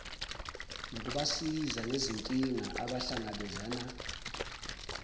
nokubasiza ngezinkinga abangahlangabezana